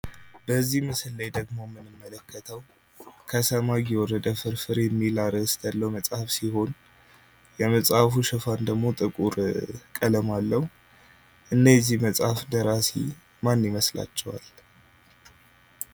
በዚህ ምስል ላይ የምንመለከተው ደግሞ ከሰማይ የወረደ ፍርፍር የሚል አርዕስት መጽሐፍ ሲሆን የመጽሐፉ ሽፋን ደግሞ ጥቁር ቀለም አለው። እና የዚህ መጽሐፍ ደራሲ ማን ይመስላችኋል?